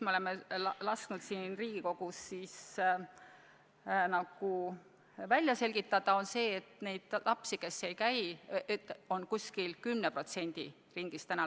Me oleme lasknud siin Riigikogus olukorra välja selgitada ja meie andmetel on neid lapsi, kes lasteaias ei käi, 10% ringis.